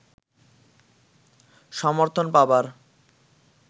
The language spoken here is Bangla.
সমর্থন পাবার